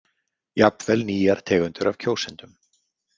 Jafnvel nýjar tegundir af kjósendum.